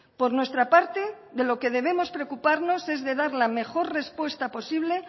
por nuestra parte de lo que debemos preocuparnos es de dar la mejor respuesta posible